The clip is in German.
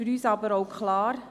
Für uns ist aber auch klar: